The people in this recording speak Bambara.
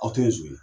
Aw tɛ zon ye